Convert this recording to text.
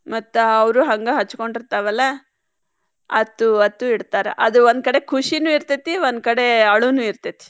ಮತ್ತ್ ಅವ್ರು ಹಂಗ ಹಚ್ಕೊಂಡಿರ್ತಾವಲ್ಲ ಅತ್ತು ಅತ್ತು ಇಡ್ತಾರ ಅದು ಒಂದ್ ಕಡೆ ಖುಷಿನೂ ಇರ್ತೇತಿ ಒಂದ್ ಕಡೆ ಅಳುನು ಇರ್ತೇತಿ.